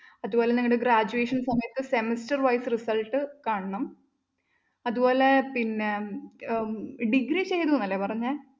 അതുപോലെ നിങ്ങള്‍ടെ graduation സമയത്തെ semester wise results കാണണം. അതുപോലെ പിന്നെ അഹ് degree ചെയ്തു എന്നല്ലേ പറഞ്ഞെ?